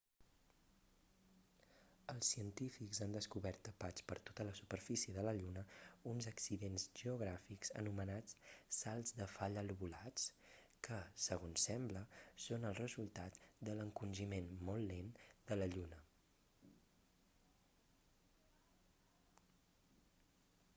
els científics han descobert tapats per tota la superfície de la lluna uns accidents geogràfics anomenats salts de falla lobulats que segons sembla són el resultat de l'encongiment molt lent de la lluna